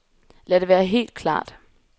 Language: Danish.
Lad det være helt klart.